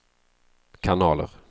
kanaler